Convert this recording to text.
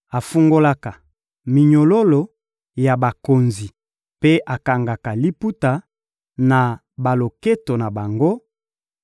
afungolaka minyololo ya bakonzi mpe akangaka liputa na baloketo na bango;